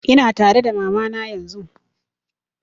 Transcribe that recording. Ina tare da mama na yanzun